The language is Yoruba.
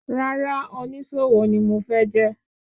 Rárá, onísòwò ni mo fẹ́ jẹ́.